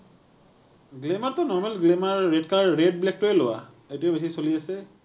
glamour টো normal glamorous colour, red black টোৱে লোৱা। সেইটোৱে বেছি চলি আছে।